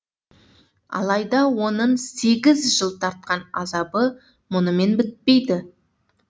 алайда оның сегіз жыл тартқан азабы мұнымен бітпейді